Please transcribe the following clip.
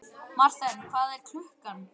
Marthen, hvað er klukkan?